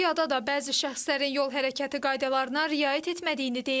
Bir çox piyada da bəzi şəxslərin yol hərəkəti qaydalarına riayət etmədiyini deyir.